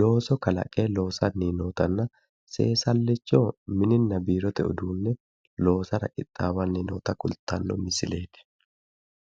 looso kalaqe loosanni nootanna seesallicho mininna biirote uduunne loosara qixxaawanni noota kultanno misileeti.